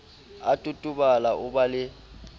a totobala o ba le